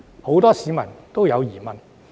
很多市民都有疑問。